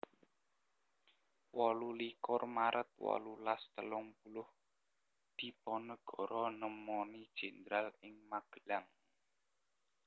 wolu likur maret wolulas telung puluh Diponegoro nemoni Jenderal ing Magelang